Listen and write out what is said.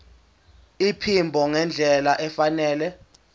iphimbo ngendlela efanele